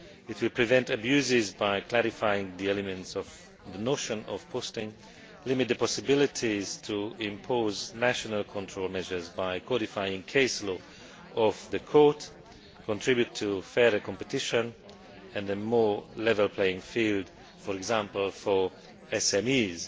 It will prevent abuses by clarifying the elements of the notion of posting, limit the opportunities to impose national control measures by codifying the case law of the Court, and contribute to fairer competition and a more level playing field, for example, for SMEs.